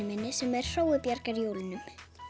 minni sem er Hrói bjargar jólunum